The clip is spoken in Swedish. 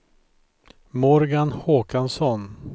Morgan Håkansson